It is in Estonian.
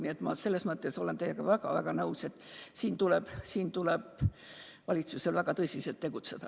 Nii et ma olen teiega nõus, et siin tuleb valitsusel väga tõsiselt tegutseda.